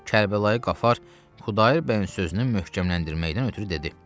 Kərbəlayı Qafar Xudayar bəyin sözünü möhkəmləndirməkdən ötrü dedi: